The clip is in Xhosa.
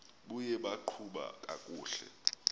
buye baqhuba kakuhle